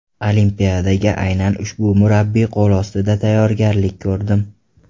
Olimpiadaga aynan ushbu murabbiy qo‘l ostida tayyorgarlik ko‘rdim.